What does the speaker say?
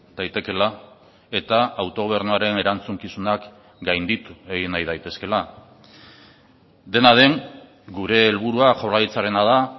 daitekela eta autogobernuaren erantzukizunak gainditu egin nahi daitezkela dena den gure helburua jaurlaritzarena da